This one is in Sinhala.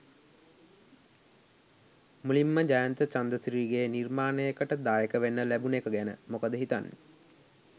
මුලින්ම ජයන්ත චන්ද්‍රසිරිගේ නිර්මාණයකට දායක වෙන්න ලැබුණු එක ගැන මොකද හිතන්නේ?